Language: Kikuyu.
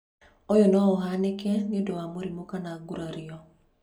Ũyũ no ũhanĩke nĩ ũndũ wa mũrimũ kana gurario.